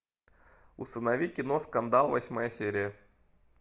установи кино скандал восьмая серия